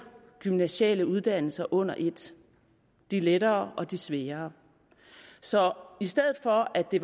gymnasiale uddannelser under et de lettere og de sværere så i stedet for at det